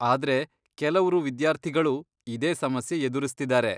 ಆದ್ರೆ ಕೆಲವ್ರು ವಿದ್ಯಾರ್ಥಿಗಳು ಇದೇ ಸಮಸ್ಯೆ ಎದುರಿಸ್ತಿದಾರೆ.